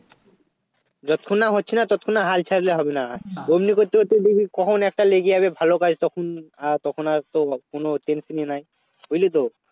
যতক্ষণ না হচ্ছে না ততক্ষণ না হাল ছাড়লে হবে না অমনি করতে করতে দেখবি কখন একটা লেগে যাবে ভালো কাজ তখন আর তখন আরতো কোন Tension ই নেই বুঝলিতো